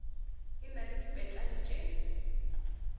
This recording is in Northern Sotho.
e na le dipetale tše